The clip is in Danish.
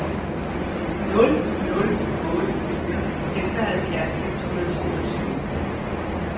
nul nul otte fire seksoghalvfjerds seks hundrede og toogtyve